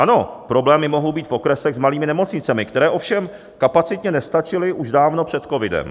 Ano, problémy mohou být v okresech s malými nemocnicemi, které ovšem kapacitně nestačily už dávno před covidem.